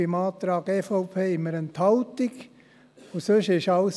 Beim Antrag der EVP hatten wir eine Enthaltung.